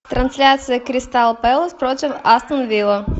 трансляция кристал пэлас против астон вилла